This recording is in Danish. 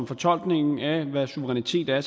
fortolkningen af hvad suverænitet er